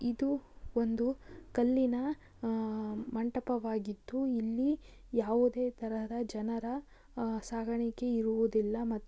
ಇದು ಒಂದು ಕಲ್ಲಿನ ಆ ಮಂಟಪವಾಗಿದು. ಇಲ್ಲಿ ಯಾವುದೇ ತರದ ಜನರ ಅ ಸಾಗಾಣಿಕೆ ಇರುವುದಿಲ್ಲ ಮತ್ --